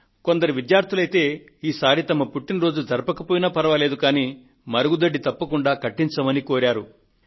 కొందరు విద్యార్థులైతే ఈసారి తమ పుట్టిన రోజు జరపకపోయినా ఫర్వాలేదు మరుగుదొడ్డి తప్పకుండా కట్టించాలంటూ కోరారు